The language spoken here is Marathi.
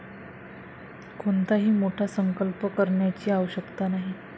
कोणताही मोठा संकल्प करण्याची आवश्यकता नाही.